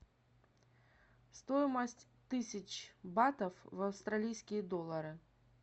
стоимость тысяч батов в австралийские доллары